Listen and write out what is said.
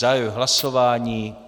Zahajuji hlasování.